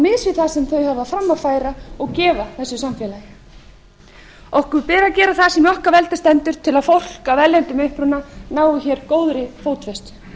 mis við það sem þeir hafa fram að færa og gefa þessu samfélagi okkur ber að gera það sem í okkar valdi stendur til að fólk af erlendum uppruna nái hér góðri fótfestu